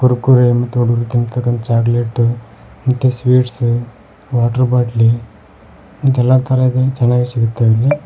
ಕುರ್ಕುರೆ ಮತ್ತು ಹುಡ್ರು ತಿನ್ನ ತಕ್ಕಂತ ಚಾಕಲೇಟ್ ಮತ್ತೆ ಸ್ವೀಟ್ಸ್ ವಾಟರ್ ಬಾಟ್ಲಿ ಇದೆಲ್ಲಾ ತರ ಇದೆ ಚೆನ್ನಾಗೆ ಸಿಗತಾವೇ ಇಲ್ಲಿ.